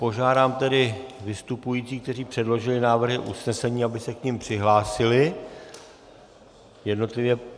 Požádám tedy vystupující, kteří předložili návrhy usnesení, aby se k nim přihlásili jednotlivě.